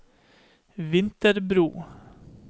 Vinterbro